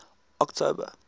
october